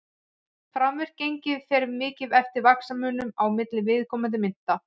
framvirkt gengi fer mikið eftir vaxtamun á milli viðkomandi mynta